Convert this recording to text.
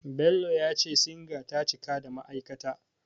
Bello ya ce Singa ta cika da ma'aikata.